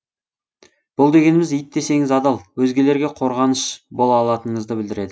бұл дегеніміз ит десеңіз адал өзгелерге қорғаныш бола алатыныңызды білдіреді